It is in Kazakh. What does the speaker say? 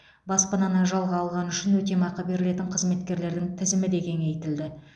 баспананы жалға алғаны үшін өтемақы берілетін қызметкерлердің тізімі де кеңейтілді